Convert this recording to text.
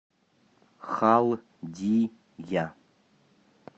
халдия